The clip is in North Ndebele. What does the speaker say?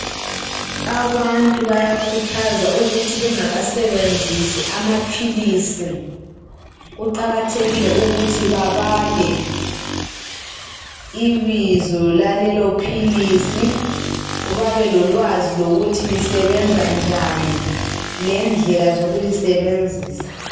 Abantu bayakhuthazwa ukuthi bengakasebenzisi amaphilisi kuqakathekile ukuthi babale ibizo lalelo philisi babelolwazi lokuthi lisebenza njani lendlela zokulisebenzisa.